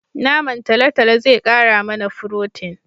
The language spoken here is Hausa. Naman talotalo zai kara mana furotin